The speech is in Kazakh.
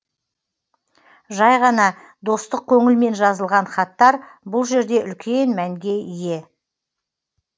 жай ғана достық көңілмен жазылған хаттар бұл жерде үлкен мәнге ие